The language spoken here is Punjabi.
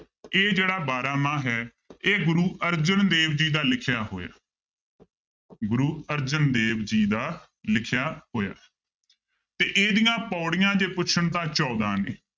ਇਹ ਜਿਹੜਾ ਬਾਰਾਂਮਾਂਹ ਹੈ ਇਹ ਗੁਰੂ ਅਰਜਨ ਦੇਵ ਜੀ ਦਾ ਲਿਖਿਆ ਹੋਇਆ ਗੁਰੂ ਅਰਜਨ ਦੇਵ ਜੀ ਦਾ ਲਿਖਿਆ ਹੋਇਆ ਤੇ ਇਹਦੀਆਂ ਪਾਉੜੀਆਂ ਜੇ ਪੁੱਛਣ ਤਾਂ ਚੋਦਾਂ ਨੇ